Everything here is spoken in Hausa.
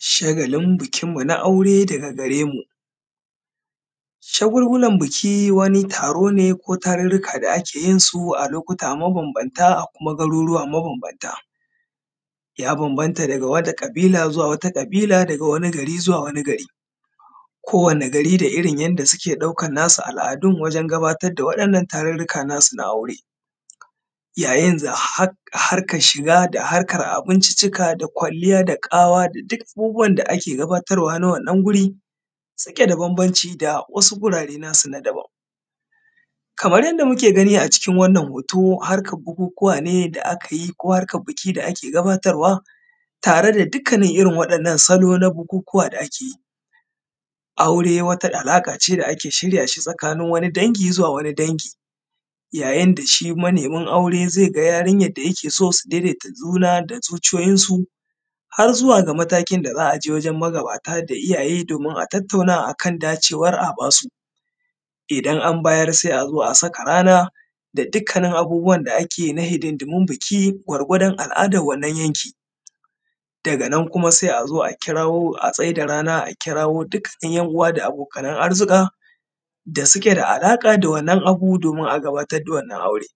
Shagalin bikin mu na aure daga gare mu, shagulgulan biki wani taro ne ko tarurruka da ake yinsu a lokuta mabanbanta a kuma garuruwa mabanbanta. Ya bambanta daga wata ƙabila zuwa wata ƙabila, daga wani gari zuwa wani gari. Kowani gari da irin yanda suke ɗaukar nasu al'adun wajen gabatar da waɗannan tarurruka nasu na aure. Yayin harkar shiga da harkar abinciccika, da kwalliyan da ƙawa da duk abubuwan da ake gabatarwa na wannan guri suke da babanci da wasu gurare nasu na daban, kamar yanda muke gani a cikin wannan hoto harkar bukukuwa ne da a kayi ko harkar biki da ake gabatarwa, tare da dukkanin irin wa’yannan salo na bukukuwa da a ke yi. Aure wata alaƙa ce da ake shirya shi tsakanin wani dangi zuwa wani dangi yayin da shi manemin aure zai ga yarinyar da yake so su daidaita juna da zuciyoyin su, har zuwa ga matakin da za a je wajen magabata da iyaye domin a tattauna a kan dacewar a ba su. Idan an bayar sai an zo a saka rana da duk kanin abubuwan da ake na hidindimun biki gwargwadon al'adar wannan yanki. Daga nan kuma sai a zo a kirawo a tsai da rana a kirawo dukkanin yan uwa da abokanan arzuka, da suke da alaƙa da wannan abu domin a gabatar da wannan aure.